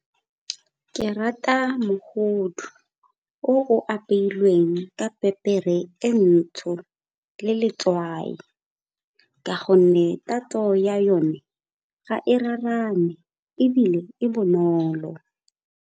Ke rata mogodu o o apeilweng ka pepere e ntsho le letswai ka gonne tatso ya yone ga e raraane ebile e bonolo.